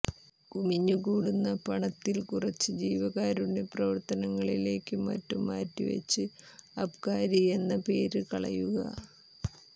കുമിഞ്ഞുകൂടുന്ന പണത്തിൽ കുറച്ച് ജീവകാരണ്യ പ്രവർത്തനങ്ങളിലേക്കും മറ്റും മാറ്റിവച്ച് അബ്ക്കാരിയെന്ന പേര് കളയുക